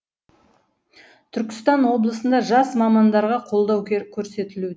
түркістан облысында жас мамандарға қолдау көрсетілуде